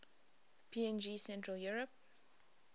png central europe